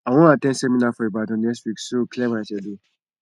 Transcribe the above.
i wan at ten d seminar for ibadan next week so clear my schedule